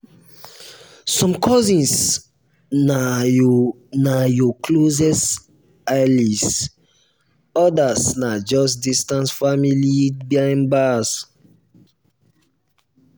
some cousins na your na your closest allies others na just distant family members.